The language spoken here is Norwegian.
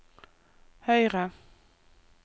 høyre